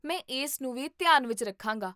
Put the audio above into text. ਮੈਂ ਇਸ ਨੂੰ ਵੀ ਧਿਆਨ ਵਿੱਚ ਰੱਖਾਂਗਾ